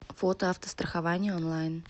фото автострахование онлайн